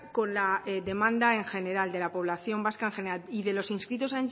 con la demanda de la población vasca en general y de los inscritos